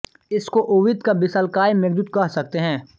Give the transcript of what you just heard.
इसको ओविद का विशालकाय मेघदूत कह सकते हैं